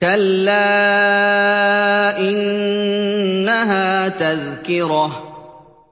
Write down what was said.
كَلَّا إِنَّهَا تَذْكِرَةٌ